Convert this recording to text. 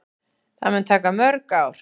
Það mun taka mörg ár.